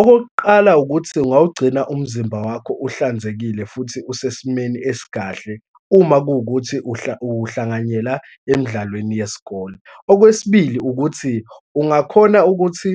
Okokuqala ukuthi, ungawugcina umzimba wakho uhlanzekile futhi usesimeni esikahle uma kuwukuthi uhlanganyela emidlalweni yesikole. Okwesibili ukuthi, ungakhona ukuthi